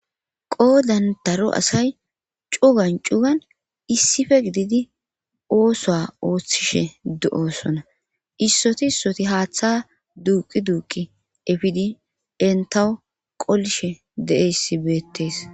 Qoodan daro asay cugan cugan issife gididi oosoa ooththishe do7osona issoti issoti haaththa duuqi duuqi efidi entaw qolishe deeyssi beettes